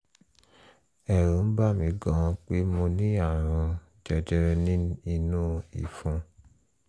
ẹ̀rù ń bà mí gan-an pé mo ní ààrùn jẹjẹrẹ inú ìfun